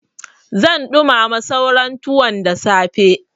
Zan ɗumama sauran tuwon da safe.